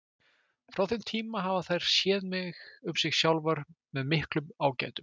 Frá þeim tíma hafa þær séð um sig sjálfar með miklum ágætum.